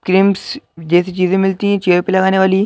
creams जैसी चीजें मिलती हैं चेहरे पे लगाने वाली --